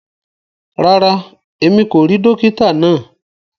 Ràrá, ẹ̀mi kò ríì dòkìtà naa.